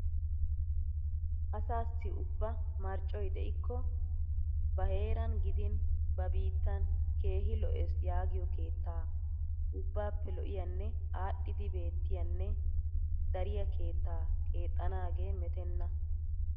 Asaassi ubba marccoy de'ikko ba heeran gidin ba biittan keehi lo'ees yaagiyo keetta ubbaappe lo'iyanne aadhidi beettiyanne dariya keettaa keexxanaagee metenna.